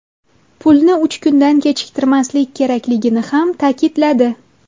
Pulni uch kundan kechiktirmaslik kerakligini ham ta’kidladi.